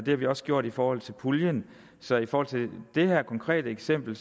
har vi også gjort i forhold til puljen så i forhold til det her konkrete eksempel